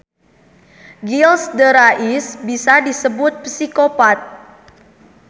Gilles de Rais bisa disebut psikopat.